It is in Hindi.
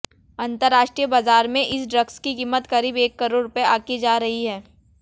अंतरराष्ट्रीय बाजार में इस ड्रग्स की कीमत करीब एक करोड़ रुपए आंकी जा रही है